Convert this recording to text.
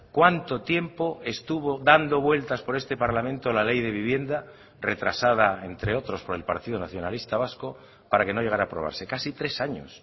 cuánto tiempo estuvo dando vueltas por este parlamento la ley de vivienda retrasada entre otros por el partido nacionalista vasco para que no llegara a aprobarse casi tres años